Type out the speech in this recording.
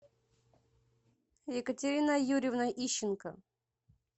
екатерина юрьевна ищенко